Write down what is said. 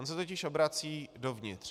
On se totiž obrací dovnitř.